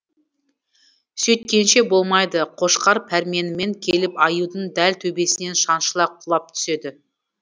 сөйткенше болмайды қошқар пәрменімен келіп аюдың дәл төбесінен шаншыла құлап түседі